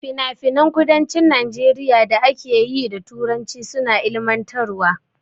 Finafinan kudancin Najeriya da ake yi da Turanci suna ilmantarwa.